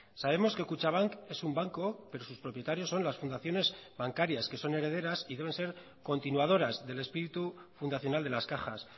sabemos que kutxabank es un banco pero sus propietarios son las fundaciones bancarias que son herederas y deben ser continuadoras del espíritu fundacional de las cajas